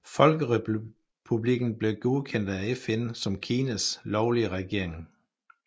Folkerepublikken blev godkendt af FN som Kinas lovlige regering